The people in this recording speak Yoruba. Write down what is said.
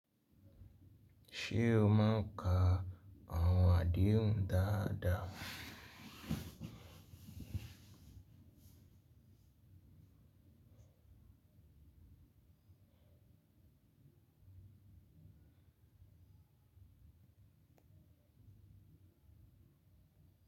Ṣé o máa ń ka àwọn àdehun dáadáa?